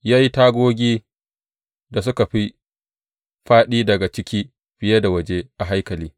Ya yi tagogin da suka fi fāɗi daga ciki fiye da waje a haikalin.